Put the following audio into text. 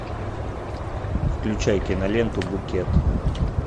включай киноленту букет